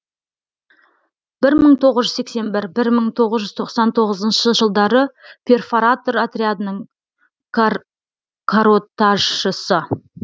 бір мың тоғыз жүз сексен бір бір мың тоғыз жүз тоқсан тоғызыншы жылдары перфоратор отрядының каротажшысы